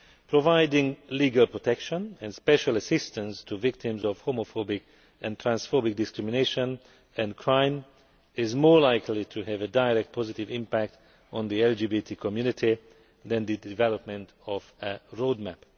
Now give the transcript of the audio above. Providing legal protection and special assistance to victims of homophobic and transphobic discrimination and crime is more likely to have a direct positive impact on the LGBT community than the development of a roadmap.